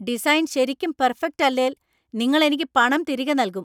Design ശരിക്കും perfect അല്ലേല്‍, നിങ്ങൾ എനിക്ക് പണം തിരികെ നൽകും.